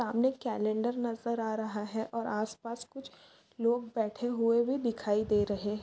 सामने कॅलेन्डर नजर आ रहा है और आसपास कुछ लोग बैठे हुए भी दिखाई दे रहे--